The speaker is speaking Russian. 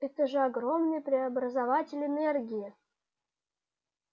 это же огромный преобразователь энергии